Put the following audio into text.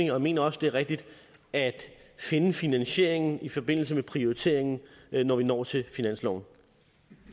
jeg mener også det er rigtigt at finde finansieringen i forbindelse med prioriteringen når vi når til finansloven